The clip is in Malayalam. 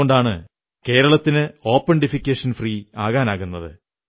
അതുകൊണ്ടാണ് കേരളത്തിന് ഓപൺ ഡിഫെക്കേഷൻ ഫ്രീ ആകാൻ കഴിയുന്നത്